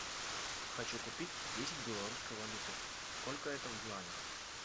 хочу купить десять белорусской валюты сколько это в юанях